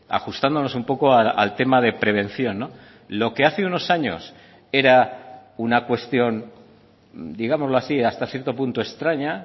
ajustándonos un poco al tema de prevención lo que hace unos años era una cuestión digámoslo así hasta cierto punto extraña